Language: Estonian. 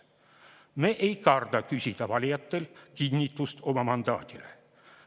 Me ei karda küsida valijatelt kinnitust oma mandaadile.